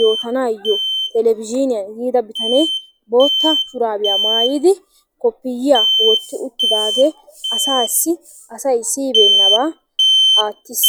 yootanaayyo televizhzhiniyaan yiida bitanee bootta shurabiyaa maayyidi kopiyiyya wotti uttidaagee asaassi asay siyyibeennaba aattiis.